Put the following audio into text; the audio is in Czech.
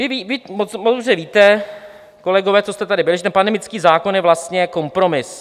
Vy moc dobře víte, kolegové, co jste tady byli, že ten pandemický zákon je vlastně kompromis.